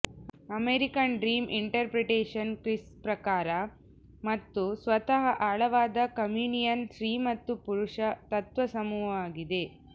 American dream interpretation kiss ಪ್ರಕಾರ ಮತ್ತು ಸ್ವತಃ ಆಳವಾದ ಕಮ್ಯುನಿಯನ್ ಸ್ತ್ರೀ ಮತ್ತು ಪುರುಷ ತತ್ವ ಸಮೂಹವಾಗಿದೆ